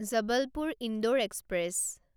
Jabalpur Indore express